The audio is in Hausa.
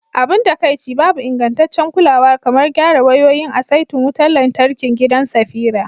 Abin takaici, babu ingantaccen kulawa kamar gyara wayoyin a saitin wutar lantarkin gidan Safira.